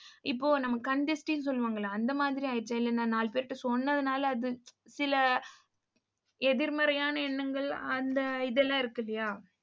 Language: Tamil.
இப்போ நம்ம கண் திருஷ்டின்னு, சொல்லுவாங்கல்லே அந்த மாதிரிஆயிடுச்சா இல்ல நான் நாலு பேர்கிட்ட சொன்னதுனால அது சில எதிர்மறையான எண்ணங்கள் அந்த இதெல்லாம் இருக்கில்லையா